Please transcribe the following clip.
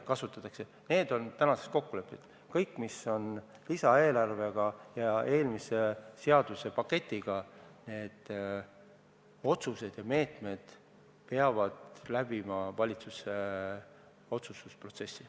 Kõik meetmed, mis on seotud lisaeelarvega ja eelmise seaduspaketiga, peavad läbima valitsuse otsustusprotsessi.